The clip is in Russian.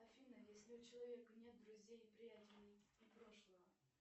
афина если у человека нет друзей и приятелей и прошлого